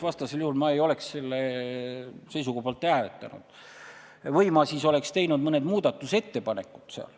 Vastasel juhul ei oleks ma selle seisukoha poolt hääletanud või oleksin teinud selle kohta mõne muudatusettepaneku.